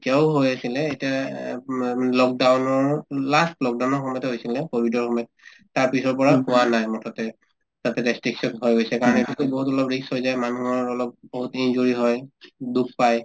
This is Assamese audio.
এতিয়াও হৈ আছিলে এতিয়া এ উব lockdown ৰ last lockdown ৰ সময়তে হৈছিলে কভিডৰ সময়ত তাৰপিছৰ পৰা হোৱা নাই মুঠতে তাতে হৈ গৈছে কাৰণেতো to বহুত ধৰিলওক risk হৈ যায় মানুহৰ অলপ বহুত injury হয় দুখ পাই